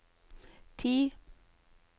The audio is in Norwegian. ti